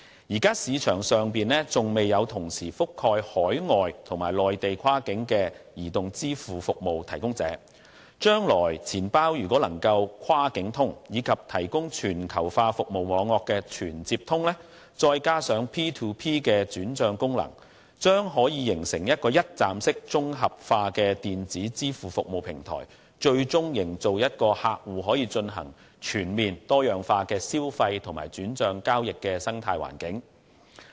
現時市場上尚未有同時覆蓋海外及內地跨境的移動支付服務提供者，將來錢包若能"跨境通"，以及提供全球化服務網絡的"全接通"，再加上 P2P 的轉帳功能，將可形成一個一站式綜合化的電子支付服務平台，最終營造一個客戶可以進行全面而多樣化消費和轉帳交易的生態環境。